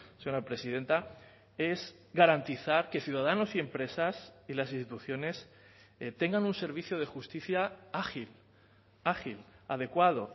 señora presidenta es garantizar que ciudadanos y empresas y las instituciones tengan un servicio de justicia ágil ágil adecuado